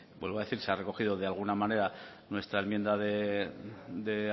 vuelvo a decir se ha recogido de alguna manera nuestra enmienda de